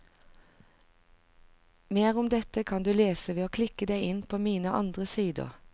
Mer om dette kan du lese ved å klikke deg inn på mine andre sider.